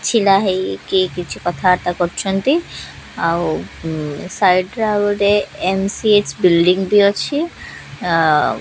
ଛିଡ଼ା ହେଇକି କିଛି କଥାବାର୍ତ୍ତା କରୁଛନ୍ତି ଆଉ ଉ ସାଇଟ୍ ରେ ଆଉ ଗୋଟେ ଏମ୍_ସି_ଏଚ୍ ବିଲ୍ଡିଂ ଟି ଅଛି ଅ --